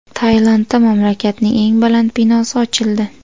Tailandda mamlakatning eng baland binosi ochildi .